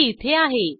ती इथे आहे